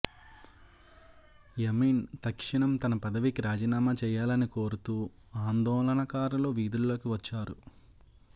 యమీన్ తక్షణం తన పదవికి రాజీనామా చేయాలని కోరుతూ ఆందోళనకారులు వీధుల్లోకి వచ్చారు